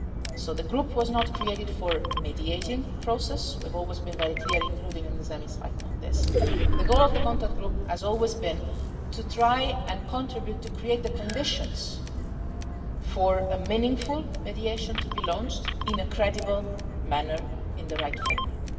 So the group was not created for mediating a process we've always been very clear on this, including in this chamber the goal of the contact group has always been to try and contribute to create the conditions for a meaningful mediation to be launched in a credible manner in the right framework.